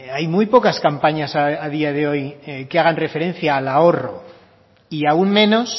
hay muy pocas campañas a día de hoy que hagan referencia al ahorro y aún menos